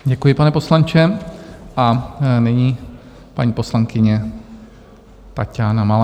Děkuji, pane poslanče, a nyní paní poslankyně Taťána Malá.